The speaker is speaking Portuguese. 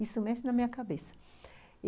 Isso mexe na minha cabeça.